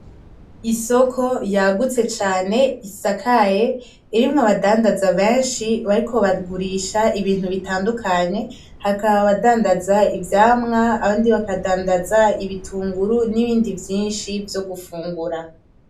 Isoko yagutse cane isakaye irimwo abadandaza beshi bariko baragurisha ibintu bitandukanye hakaba abadandaza ivyamwa abandi bakadandaza ibitunguru n’ibindi vyishi vyo gufungura